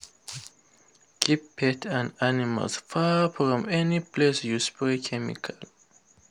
keep pets and animals far from any place you spray chemical.